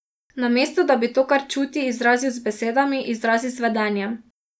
Namesto da bi to, kar čuti, izrazil z besedami, izrazi z vedenjem.